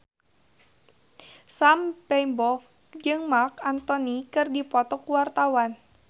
Sam Bimbo jeung Marc Anthony keur dipoto ku wartawan